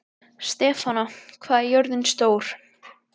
Stefana, hvað er jörðin stór?